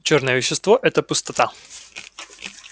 чёрное вещество это пустота